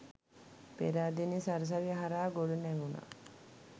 පේරාදෙණිය සරසවිය හරහා ගොඩනැගුණ